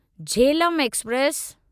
Jhelum express